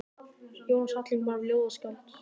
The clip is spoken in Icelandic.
Jónas Hallgrímsson var ljóðskáld.